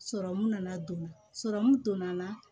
nana don donna la